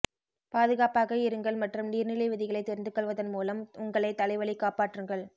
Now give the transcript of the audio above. பாதுகாப்பாக இருங்கள் மற்றும் நீர்நிலை விதிகளை தெரிந்துகொள்வதன் மூலம் உங்களை தலைவலி காப்பாற்றுங்கள்